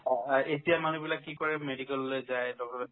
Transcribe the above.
অ, আ এতিয়াৰ মানুহবিলাকে কি কৰে medical লৈ যায় doctor ৰক